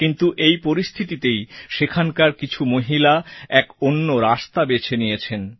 কিন্তু এই পরিস্থিতিতেই সেখানকার কিছু মহিলা এক অন্য রাস্তা বেছে নিয়েছেন